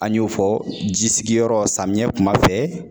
An y'o fɔ, ji sigiyɔrɔ samiyɛ kuma fɛ.